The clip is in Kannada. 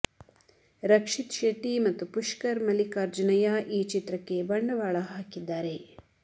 ರಕ್ಷಿತ್ ಶೆಟ್ಟಿ ಮತ್ತು ಪುಷ್ಕರ್ ಮಲ್ಲಿಕಾರ್ಜುನಯ್ಯ ಈ ಚಿತ್ರಕ್ಕೆ ಬಂಡವಾಳ ಹಾಕಿದ್ದಾರೆ